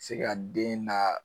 Se ka den naa